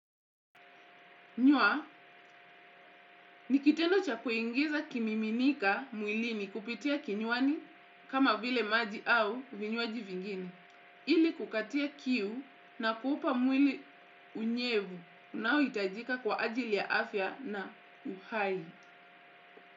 Kunywa, ni kitendo cha kuingiza kimiminika mwilini kupitia kinywani kama vile maji au vinywaji vingine, ili kukatia kiu na kuupa mwili unyevu unaohitajika kwa ajili ya afya na uhai.